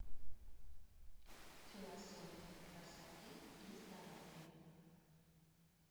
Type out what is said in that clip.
философия красоты и здоровья